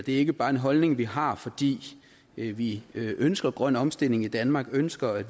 ikke bare en holdning vi har fordi vi vi ønsker grøn omstilling i danmark og ønsker at